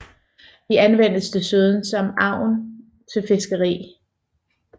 De anvendes desuden som agn til fiskeri